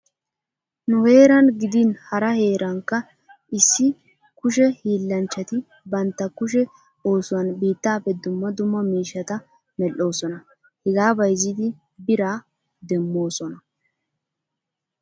Nu heeran gidin hara heerankka issi kushe hiillanchchati bantta kushe oosuwan biittaappe dumma dumma miishshata medhdhoosona. Hegaa bayzzidi biraa demmoosona.